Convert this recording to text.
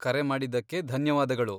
ಕರೆ ಮಾಡಿದ್ದಕ್ಕೆ ಧನ್ಯವಾದಗಳು.